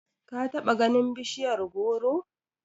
ka bata ganin bishiyar goro?